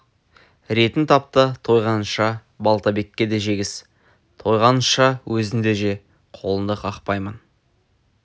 ретін тап та тойғанынша балтабекке де жегіз тойғаныңша өзің де же қолыңды қақпаймын